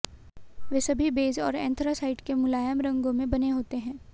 वे सभी बेज और एंथ्रासाइट के मुलायम रंगों में बने होते हैं